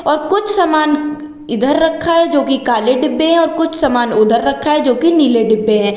और कुछ समान इधर रखा है जो कि काले डिब्बे है और कुछ समान उधर रखा है जो कि नीले डिब्बे है।